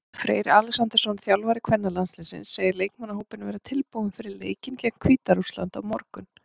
Freyr Alexandersson, þjálfari kvennalandsliðsins, segir leikmannahópinn vera tilbúinn fyrir leikinn gegn Hvíta-Rússlandi á morgun.